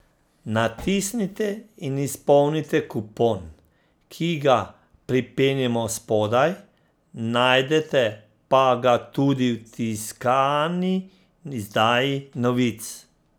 Natisnite in izpolnite kupon, ki ga pripenjamo spodaj, najdete pa ga tudi v tiskani izdaji Novic.